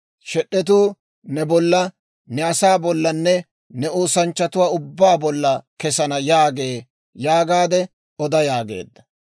Shed'etuu ne bolla, ne asaa bollanne ne oosanchchatuwaa ubbaa bolla kesana» yaagee› yaagaade oda» yaageedda.